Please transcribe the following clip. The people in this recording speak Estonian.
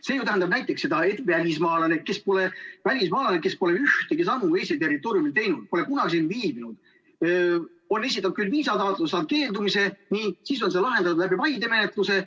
See ju tähendab näiteks seda, et välismaalane, kes pole ühtegi sammu Eesti territooriumil teinud, pole kunagi siin viibinud, on esitanud küll viisataotluse, on saanud keeldumise, ning siis on see lahendatud läbi vaidemenetluse.